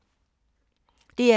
DR2